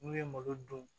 N'u ye malo dun